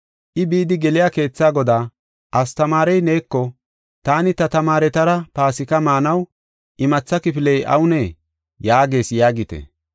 I bidi geliya keetha godaa, ‘Astamaarey neeko, “Taani ta tamaaretara Paasika maanaw imatha kifiley awunee?” yaagees’ yaagite.